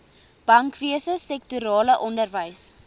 bankwese sektorale onderwys